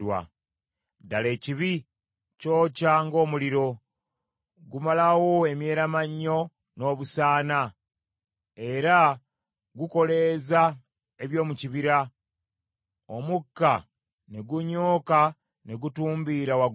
Ddala ekibi kyokya ng’omuliro; gumalawo emyeramannyo n’obusaana. Era gukoleeza eby’omu kibira, omukka ne gunyooka ne gutumbiira waggulu.